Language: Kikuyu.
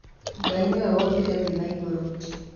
Ngai nĩwe wombire nthĩ na igũrũ.